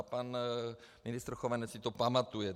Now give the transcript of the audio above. A pan ministr Chovanec si to pamatuje.